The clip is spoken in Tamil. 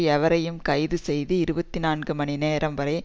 எவரையும் கைது செய்து இருபத்தி நான்கு மணி நேரம் வரை